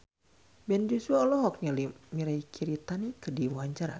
Ben Joshua olohok ningali Mirei Kiritani keur diwawancara